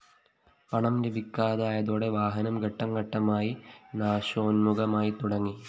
പണം ലഭിക്കാതായതോടെ വാഹനം ഘട്ടംഘട്ടമായി നാശോന്മുഖമായി തുടങ്ങി